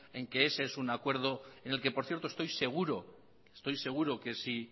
en que ese es un acuerdo en el que por cierto estoy seguro que si